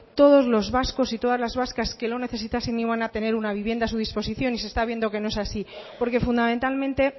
todos los vascos y todas las vascas que lo necesitasen iban a tener una vivienda a su disposición y se está viendo que no es así porque fundamentalmente